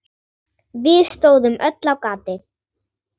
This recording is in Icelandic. Við stóðum öll á gati.